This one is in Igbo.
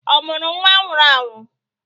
Ọ mụrụ nwa nwụrụ anwụ?